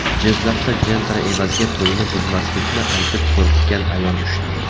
Jizzaxda Gentra evaziga to‘yni buzmaslikni aytib qo‘rqitgan ayol ushlandi.